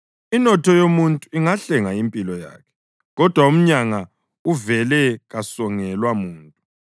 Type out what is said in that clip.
Inotho yomuntu ingahlenga impilo yakhe, kodwa umyanga uvele kasongelwa muntu.